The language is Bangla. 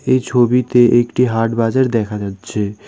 এই ছবিতে একটি হাট বাজার দেখা যাচ্ছে।